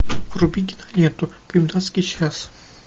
вруби киноленту комендантский час